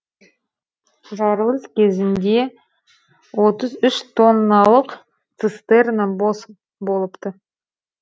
жарылыс кезінде отыз үш тонналық цистерна бос болыпты